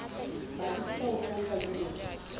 batlisisa ho tshwantsha le ho